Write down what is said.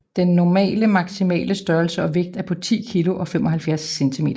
Den normale maximale størrelse og vægt er på 10 kg og 75 cm